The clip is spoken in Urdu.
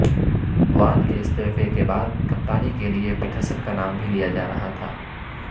وان کے استعفے کے بعد کپتانی کےلیے پیٹرسن کا نام بھی لیا جا رہا تھا